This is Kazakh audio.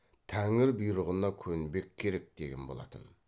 тәңір бұйрығына көнбек керек деген болатын